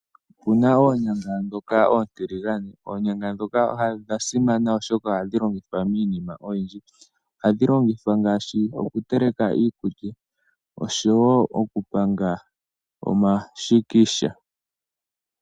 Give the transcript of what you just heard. Opuna oonyanga ndhoka oontiligane. Oonyanga ndhoka odha simana oshoka ohadhi longithwa miinima oyindji . Ohadhi longithwa ngaashi okuteleka iikulya, oshowoo okupanga omashikisha.